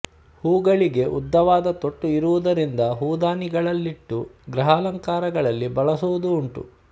ಹೂಗಳಿಗೆ ಉದ್ದವಾದ ತೊಟ್ಟು ಇರುವುದರಿಂದ ಹೂದಾನಿಗಳಲ್ಲಿಟ್ಟು ಗೃಹಾಲಂಕರಣಗಳಲ್ಲಿ ಬಳಸುವುದೂ ಉಂಟು